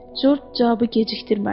Corc cavabı gecikdirmədi.